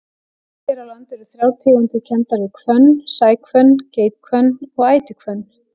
Hér á landi eru þrjár tegundir kenndar við hvönn, sæhvönn, geithvönn og ætihvönn.